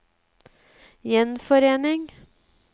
gjenforening